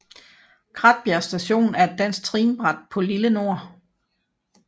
Kratbjerg Station er et dansk trinbræt på Lille Nord